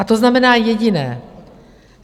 A to znamená jediné.